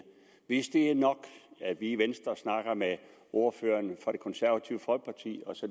hvis det er nok at vi i venstre snakker med ordføreren for det konservative folkeparti og så